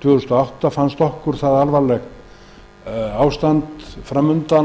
tvö þúsund og átta fannst okkur framsóknarmönnum ástandið fram undan